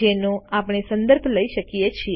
જેનો આપણે સંદર્ભ લઇ શકીએ છે